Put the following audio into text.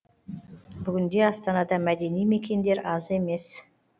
бүгінде астанада мәдени мекендер аз емес